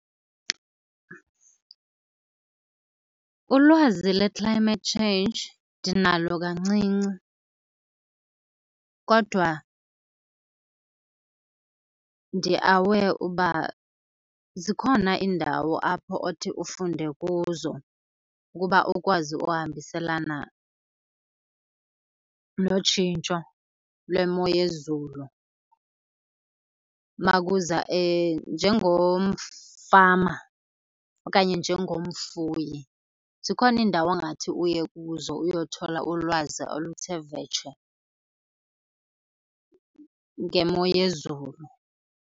Ulwazi le-climate change ndinalo kancinci. Kodwa ndi-aware uba zikhona iindawo apho othi ufunde kuzo ukuba ukwazi uhambiselana notshintsho lwemo yezulu uma kuza , njengomfama okanye njengomfuyi zikhona iindawo ongathi uye kuzo uyothola ulwazi oluthe vetshe ngemo yezulu.